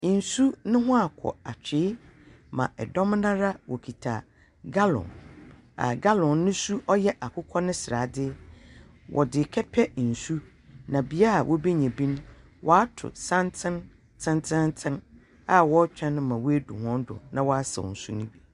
Nsu neho akɔ atwiyi ma ɛdɔm nara wokita galɔn a galɔn ne su yɛ akukɔsrade. Wɔde kɛpɛ nsu na bia wobenya bi no, waatu santen tetenten a wɔretwɛn ma wedru wɔn do na wasau nsu no bi.